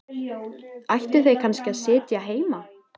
Ættu þau kannski að sitja heima?